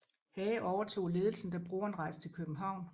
Hage overtog ledelsen da broderen rejste til København